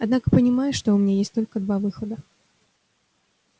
однако понимаю что у меня есть только два выхода